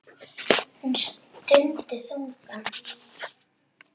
Hún stundi þungan.